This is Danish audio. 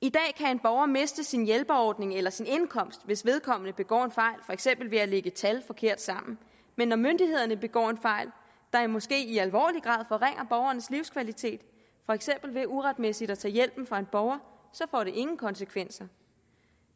en borger miste sin hjælperordning eller sin indkomst hvis vedkommende begår en fejl for eksempel ved at lægge tal forkert sammen men når myndighederne begår en fejl der måske i alvorlig grad forringer borgerens livskvalitet for eksempel ved uretmæssigt at tage hjælpen fra en borger så får det ingen konsekvenser